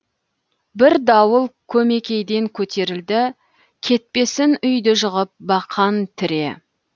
бір дауыл көмекейден көтерілді кетпесін үи ді жығып бақан тіре